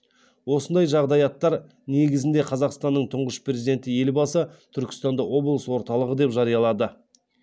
осындай жағдаяттар негізінде қазақстанның тұңғыш президенті елбасы түркістанды облыс орталығы деп жариялады